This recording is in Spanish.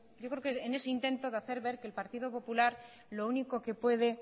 yo creo que en ese intento de hacer ver que el partido popular lo único que puede